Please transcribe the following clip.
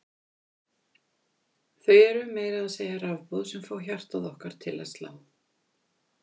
Það eru meira að segja rafboð sem fá hjartað okkar til að slá!